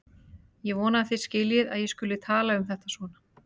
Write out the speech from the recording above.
Ég vona að þið skiljið að ég skuli tala um þetta svona.